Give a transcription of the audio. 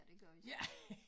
Ja det gør vi så